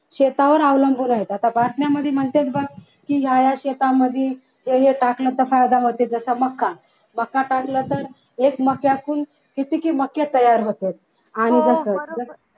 शेतावर अवलंबून आहेत आता बातम्यांमध्ये म्हणतात बघा की या या शेतामध्ये हे टाकलं तर फायदा होते तर जसा मका मका टाकला तर एक मक्यातून किती मध्ये तयार होतात आणि